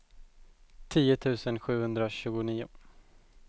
tio tusen sjuhundratjugonio